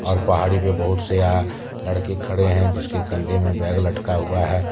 और पहाड़ी पे बहुत से अह लड़के खड़े हैं जिसके कंधे में बैग लटका हुआ है।